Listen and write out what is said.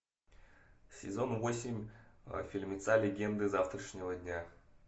сезон восемь фильмеца легенды завтрашнего дня